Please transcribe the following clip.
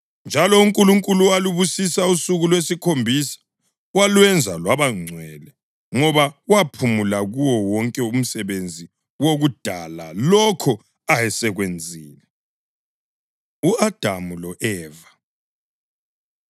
Njalo uNkulunkulu walubusisa usuku lwesikhombisa walwenza lwaba ngcwele ngoba waphumula kuwo wonke umsebenzi wokudala lokho ayesekwenzile. U-Adamu Lo-Eva